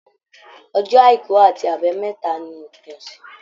Ọjọ́ àìkú àti àbámẹ́ta ní òpin ọsẹ.